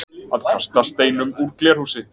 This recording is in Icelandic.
Að kasta steinum úr glerhúsi